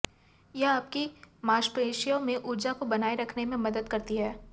यह आपकी मांसपेशियों में ऊर्जा को बनाए रखने में मदद करती है